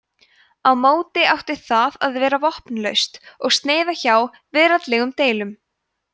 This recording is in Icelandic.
á móti átti það að vera vopnlaust og sneyða hjá veraldlegum deilum